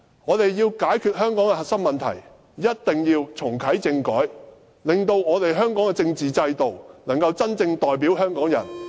我們要解決香港的核心問題，一定要重啟政改，令香港的政治制度能夠真正代表香港人......